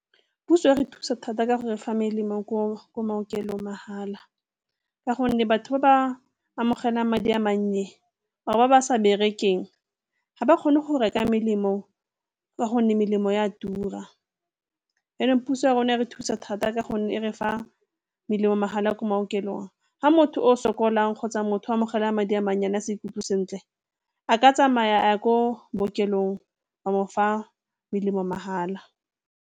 Puso e re thusa thata ka go re fa melemo ko maokelong mahala ka gonne batho ba ba amogelang madi a mannye or ba ba sa bereketseng ga ba kgone go reka melemo ka gonne melemo e a tura. Yaanong puso ya rona e re thusa thata ka gonne e re fa melemo mahala a ko maokelong ha motho o sokolang kgotsa motho o amogela madi a mannyane a sa ikutlwe sentle a ka tsamaya a ya ko bookelong ba mo fa melemo mahala.